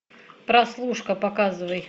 прослушка показывай